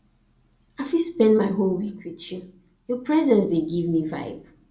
um i fit spend my whole week with you your presence dey give me vibe